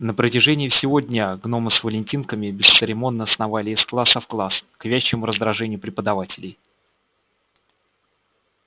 на протяжении всего дня гномы с валентинками бесцеремонно сновали из класса в класс к вящему раздражению преподавателей